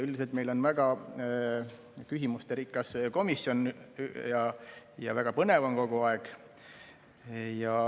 Üldiselt meil on väga küsimusterikas komisjon ja väga põnev on kogu aeg.